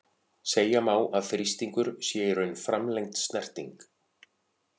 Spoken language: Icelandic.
Segja má að þrýstingur sé í raun framlengd snerting.